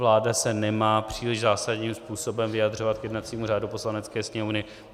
Vláda se nemá příliš zásadním způsobem vyjadřovat k jednacímu řádu Poslanecké sněmovny.